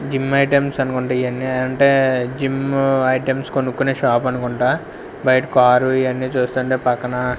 Gym items అనుకుంటా ఇవి అన్ని అంటే జిమ్ ఐటమ్స్ కొనుకొనే షాప్ అనుకుంటా బయట కారు ఇవి అన్ని చూస్తుంటే పక్కన.